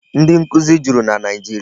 Ndị nkụzi juru na Naịjiria.